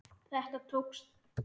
Þetta tókst.